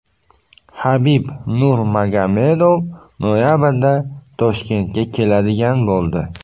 Habib Nurmagomedov noyabrda Toshkentga keladigan bo‘ldi.